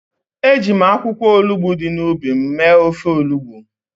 Eji m akwụkwọ olugbo dị n’ubi m mee ofe olugbo.